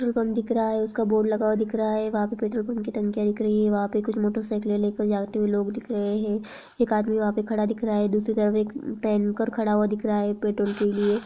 Petrol pump दिख रहा है उसका बोर्ड लगा हुआ दिख रहा है वहां पे पेट्रोल पंप की टंकियां दिख रही है वहां पे कुछ मोटरसाइकिले लेकर जाते हुए लोग दिख रहे है एक आदमी वह पर खड़ा दिख रहा दूसरी तरफ एक टैंकर खड़ा हुआ दिख रहा है पेट्रोल के लिए।